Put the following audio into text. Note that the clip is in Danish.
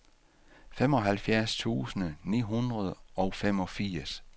femoghalvfjerds tusind ni hundrede og femogfirs